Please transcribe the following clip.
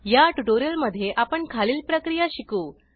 या ट्युटोरियलमध्ये आपण खालील प्रक्रिया शिकू